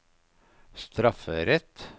strafferett